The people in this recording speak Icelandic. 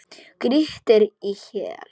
Grýttir í hel.